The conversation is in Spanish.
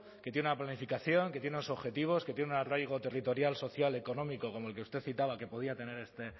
que tiene una planificación que tiene unos objetivos que tiene un arraigo territorial social económico como el que usted citaba que podía tener